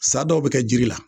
Sa dɔw bɛ kɛ jiri la